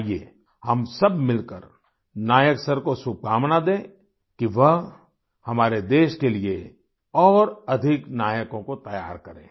आइए हम सब मिलकर नायक सर को शुभकामना दें कि वह हमारे देश के लिए और अधिक नायकों को तैयार करें